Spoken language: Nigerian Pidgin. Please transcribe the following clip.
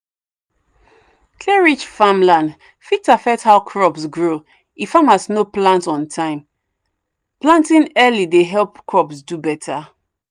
clay-rich farmland fit affect how crops grow if farmers no plant on time. planting early dey help crops do better.